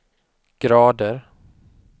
grader